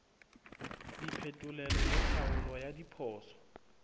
diphetolelo le tlhaolo ya diphoso